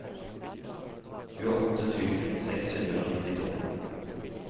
tjueåtte tusen seks hundre og nittito